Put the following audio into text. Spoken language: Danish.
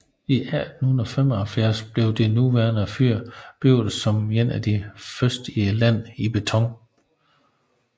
I 1875 blev det nuværende fyr bygget som et af de første i landet i beton